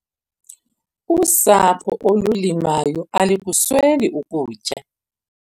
Usapho olulimayo alikusweli ukutya.